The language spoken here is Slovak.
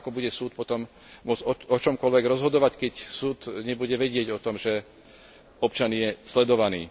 Takže ako bude súd potom môcť o čomkoľvek rozhodovať, keď súd nebude vedieť o tom, že občan je sledovaný.